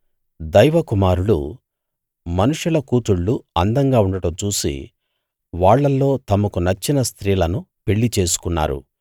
దైవ కుమారులు మనుషుల కూతుళ్ళు అందంగా ఉండడం చూసి వాళ్ళల్లో తమకు నచ్చిన స్త్రీలను పెళ్ళి చేసుకున్నారు